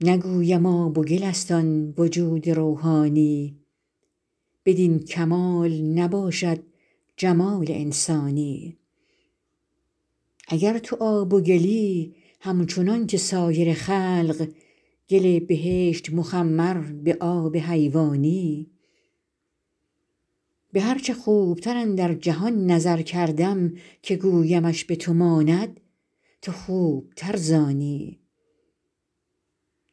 نگویم آب و گل است آن وجود روحانی بدین کمال نباشد جمال انسانی اگر تو آب و گلی همچنان که سایر خلق گل بهشت مخمر به آب حیوانی به هر چه خوبتر اندر جهان نظر کردم که گویمش به تو ماند تو خوبتر ز آنی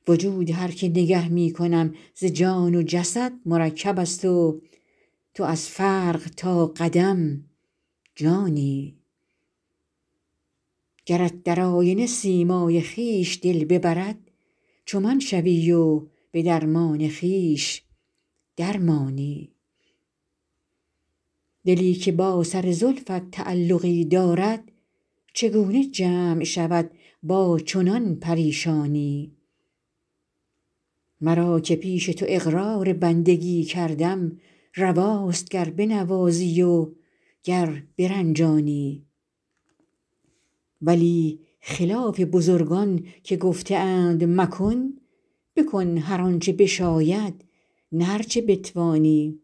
وجود هر که نگه می کنم ز جان و جسد مرکب است و تو از فرق تا قدم جانی گرت در آینه سیمای خویش دل ببرد چو من شوی و به درمان خویش در مانی دلی که با سر زلفت تعلقی دارد چگونه جمع شود با چنان پریشانی مرا که پیش تو اقرار بندگی کردم رواست گر بنوازی و گر برنجانی ولی خلاف بزرگان که گفته اند مکن بکن هر آن چه بشاید نه هر چه بتوانی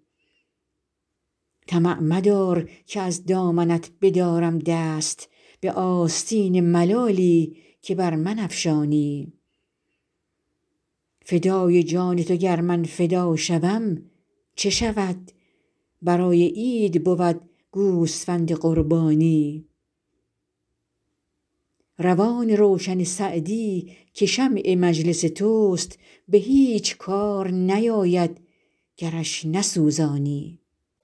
طمع مدار که از دامنت بدارم دست به آستین ملالی که بر من افشانی فدای جان تو گر من فدا شوم چه شود برای عید بود گوسفند قربانی روان روشن سعدی که شمع مجلس توست به هیچ کار نیاید گرش نسوزانی